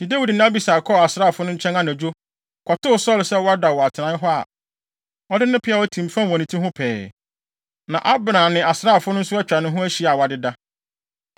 Enti Dawid ne Abisai kɔɔ asraafo no nkyɛn anadwo, kɔtoo Saulo sɛ wada wɔ atenae hɔ a, ɔde ne peaw atim fam wɔ ne ti ho pɛɛ. Na Abner ne asraafo no nso atwa ne ho ahyia a wɔadeda.